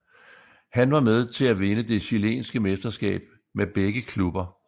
Han var med til at vinde det chilenske mesterskab med begge klubber